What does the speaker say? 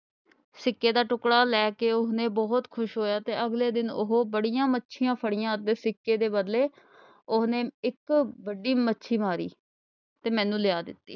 ਸਿੱਕੇ ਦਾ ਟੁੱਕੜਾ ਲੈ ਕੇ ਉਸਨੇ ਬਹੁਤ ਖ਼ੁਸ਼ ਹੋਇਆ ਤੇ ਅਗਲੇ ਦਿਨ ਉਹ ਬੜੀਆਂ ਮੱਛੀਆਂ ਫੜੀਆਂ ਤੇ ਸਿੱਕੇ ਦੇ ਬਦਲੇ ਉਹਨੇ ਇੱਕੋ ਵੱਡੀ ਮੱਛੀ ਮਾਰੀ ਤੇ ਮੈਨੂੰ ਲਿਆ ਦਿੱਤੀ।